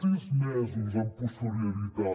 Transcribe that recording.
sis mesos amb posterioritat